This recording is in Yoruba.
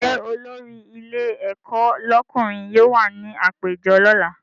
Ṣé olórí ilé ẹ̀kọ́ lọ́kùnrin yóò wà ní àpéjọ lọ́la?